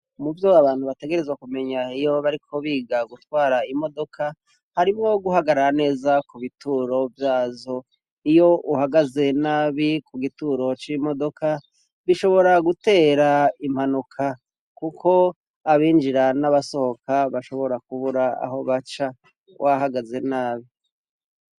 Muvyo abantu bategerezwa kumenya iyo bariko biga gutwara imodoka, harimwo guhagarara neza ku bituro vyazo iyo uhagaze nabi ku gituro c'imodoka bishobora gutera impanuka kuko abinjira n'abasohoka bashobora kubura aho baca wahagaze nabi.